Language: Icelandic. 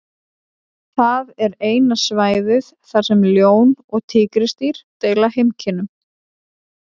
Það er eina svæðið þar sem ljón og tígrisdýr deila heimkynnum.